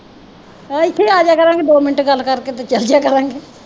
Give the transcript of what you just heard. ਇੱਥੇ ਆ ਜਾਇਆ ਕਰਾਂਗੇ ਦੋ ਮਿੰਟ ਗੱਲ ਕਰਕੇ ਤੇ ਚਲੇ ਜਾਇਆ ਕਰਾਂਗੇ।